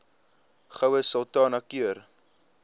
goue sultana keur